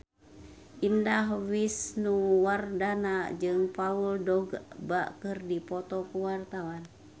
Indah Wisnuwardana jeung Paul Dogba keur dipoto ku wartawan